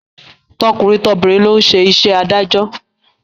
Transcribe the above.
Tọkùnrin tobìnrin ló ń ṣe iṣẹ́ adájọ́